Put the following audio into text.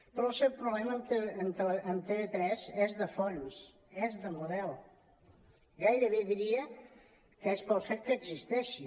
però el seu problema amb tv3 és de fons és de model gairebé diria que és pel fet que existeixi